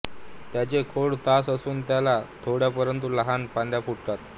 त्याचे खोड ताठ असून त्याला थोड्या परंतु लहान फांद्या फुटतात